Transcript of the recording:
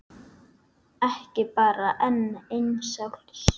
Ekki bara enn eins árs?